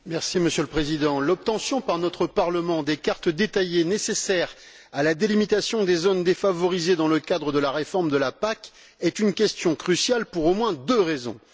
Monsieur le Président, l'obtention par notre Parlement des cartes détaillées nécessaires à la délimitation des zones défavorisées dans le cadre de la réforme de la PAC est une question cruciale pour au moins deux raisons.